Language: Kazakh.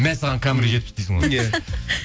мә саған камера жетпіс дейсің ғой